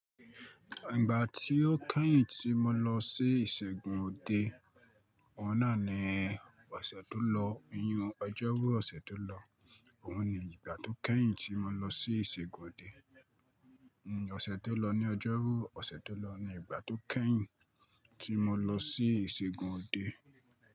Ìgbà tí ó kẹ́yìn tí mo lọ sí ìṣègùn òde, oun nàá ní ọ̀sẹ̀ tó lọ, oyún Ọjọ́rú ọ̀sẹ̀ tó lọ, òun ni ìgbà tó kẹ́yìn tí mo lọ sí ìṣègùn òde. Oṣẹ̀ tó lọ ní Ọjọ́rú ọ̀sẹ̀ tó lọ ni ìgbà tó kẹ́yìn tí mo lọ sí ìṣègùn òde.